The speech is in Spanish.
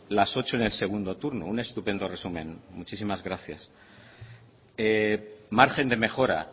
las ocho en el segundo turno un estupendo resumen muchísimas gracias margen de mejora